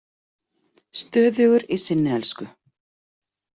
Stöðugur í sinni elsku.